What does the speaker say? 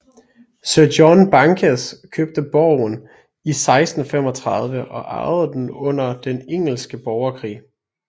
Sir John Bankes købte borgen i 1635 og ejede den under den engelske borgerkrig